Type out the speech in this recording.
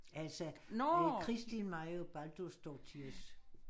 Altså Kristín Marja Baldursdóttirs